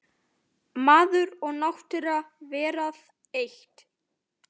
Maður og náttúra verða eitt.